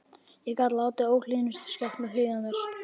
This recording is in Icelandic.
Ég gat látið óhlýðnustu skepnur hlýða mér.